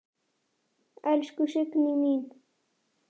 Elsku Signý mín.